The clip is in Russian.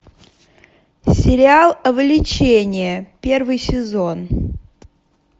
сериал влечение первый сезон